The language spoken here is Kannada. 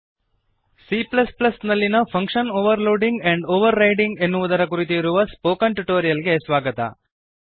C ನಲ್ಲಿಯ function overloading and overriding function overloading and overriding ಎನ್ನುವುದರ ಕುರಿತು ಇರುವ ಸ್ಪೋಕನ್ ಟ್ಯುಟೋರಿಯಲ್ ಗೆ ಸ್ವಾಗತ